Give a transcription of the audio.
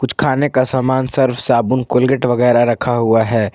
कुछ खाने का सामान सर्फ साबुन कोलगेट वगैरा रखा हुआ है।